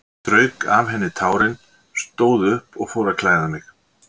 Ég strauk af henni tárin, stóð upp og fór að klæða mig.